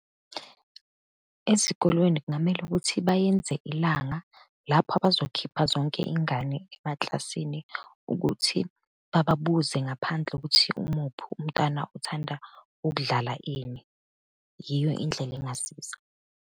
Ezikolweni kungamele ukuthi bayenze ilanga lapho abazokhipha zonke iy'ngane emakilasini, ukuthi babuze ngaphandle ukuthi umuphi umntana uthanda ukudlala ini. Yiyo indlela engasiza.